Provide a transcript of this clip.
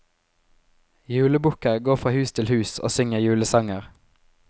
Julebukker går fra hus til hus og synger julesanger.